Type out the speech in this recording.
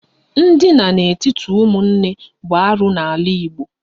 Ndina n'etiti ụmụnne bụ arụ n'ala Igbo